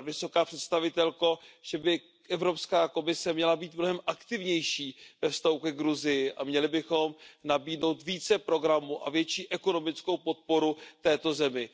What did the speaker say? vysoká představitelko, že by Evropská komise měla být mnohem aktivnější ve vztahu ke Gruzii a měli bychom nabídnout více programů a větší ekonomickou podporu této zemi.